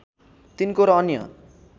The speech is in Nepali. तिनको र अन्य